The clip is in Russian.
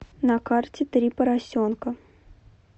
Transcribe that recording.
на карте три поросенка